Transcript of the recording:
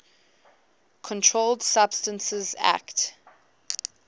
controlled substances acte